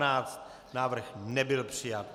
Návrh nebyl přijat.